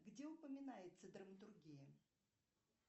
где упоминается драматургия